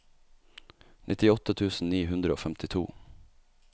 nittiåtte tusen ni hundre og femtito